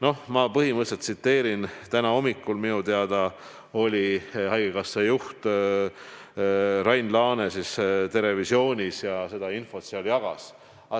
No ma põhimõtteliselt tsiteerisin – täna hommikul minu teada oli haigekassa juht Rain Laane "Terevisioonis" ja seal seda infot jagas.